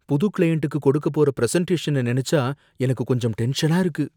புது க்ளையண்ட்டுக்கு கொடுக்க போற பிரஸென்டேஷன நனைச்சா எனக்கு கொஞ்சம் டென்ஷனா இருக்கு.